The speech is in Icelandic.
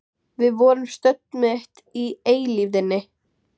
Það væri fáránlegt, andstætt allri mannlegri skynsemi.